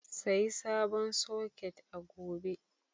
Sayi sabon soket a gobe.